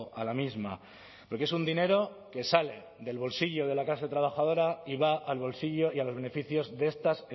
a la misma porque es un dinero que sale del bolsillo de la clase trabajadora y va al bolsillo y a los beneficios de estas